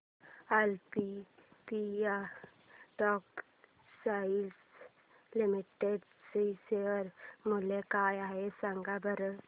Olympia textiles limited चे share मूल्य काय आहे सांगा बरं